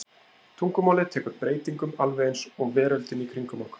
Tungumálið tekur breytingum alveg eins og veröldin í kringum okkur.